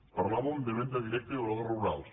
parlàvem de venda directa i obradors rurals